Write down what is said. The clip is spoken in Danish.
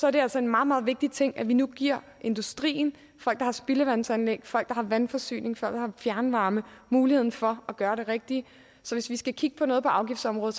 er det altså en meget meget vigtig ting at vi nu giver industrien folk der har spildevandsanlæg folk der har vandforsyning folk der har fjernvarme muligheden for at gøre det rigtige så hvis vi skal kigge på noget på afgiftsområdet